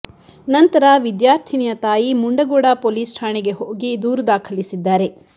ನಂತರ ವಿದ್ಯಾರ್ಥಿನಿಯ ತಾಯಿ ಮುಂಡಗೋಡ ಪೊಲೀಸ್ ಠಾಣೆಗೆ ಹೋಗಿ ದೂರು ದಾಖಲಿಸಿದ್ದಾರೆ